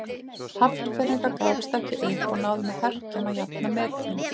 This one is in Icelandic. Hafnfirðingar gáfust ekki upp og náðu með herkjum að jafna metin.